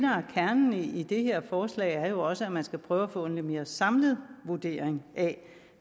kernen i det her forslag er jo også at man skal prøve at få en lidt mere samlet vurdering af